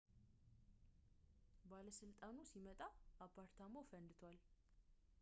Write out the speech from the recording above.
ባለሥልጣኑ ሲመጣ አፓርታማው ፈንድቷል